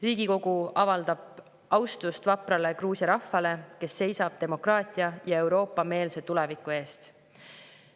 Riigikogu avaldab austust vaprale Gruusia rahvale, kes seisab demokraatia ja Euroopa-meelse tuleviku eest.